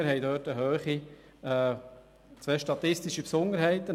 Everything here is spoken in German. Dort haben wir unter anderem zwei statistische Besonderheiten.